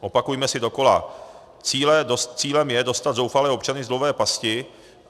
Opakujme si dokola: cílem je dostat zoufalé občany z dluhové pasti.